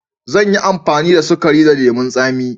Zan yi amfani da sukari da lemun tsami.